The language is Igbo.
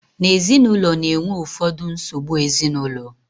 na ezinụlọ na-enwe ụfọdụ nsogbu ezinụlọ